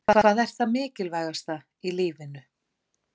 Hvað er það mikilvægasta í lífinu?